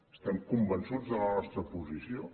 estem convençuts de la nostra posició